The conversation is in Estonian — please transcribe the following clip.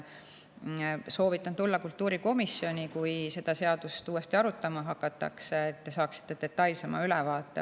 Soovitan tulla kultuurikomisjoni, kui seda seadust uuesti arutama hakatakse, et te saaksite detailsema ülevaate.